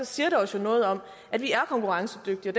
siger det os jo noget om at vi er konkurrencedygtige